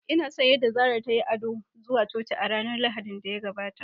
Ina son yadda Sarah ta yi ado zuwa Coci a ranar Lahadin da ya gabata